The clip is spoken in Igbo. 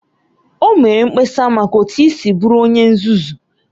O mere mkpesa maka otu i siri bụrụ onye nzuzu